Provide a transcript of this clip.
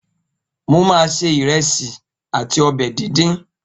Mo ma se ìrẹsì àti ọbẹ̀ díndín